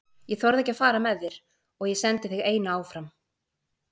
Ég þorði ekki að fara með þér og ég sendi þig eina áfram.